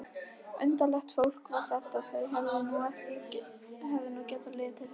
Undarlegt fólk var þetta, þau hefðu nú getað litið við!